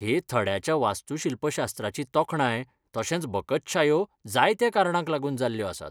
हे थड्याच्या वास्तूशिल्पशास्त्राची तोखणाय तशेंच बकत्शायो जायत्या कारणांक लागून जाल्ल्यो आसात.